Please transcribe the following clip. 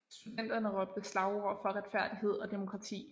Studenterne råbte slagord for retfærdighed og demokrati